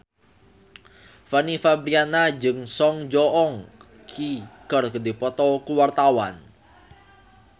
Fanny Fabriana jeung Song Joong Ki keur dipoto ku wartawan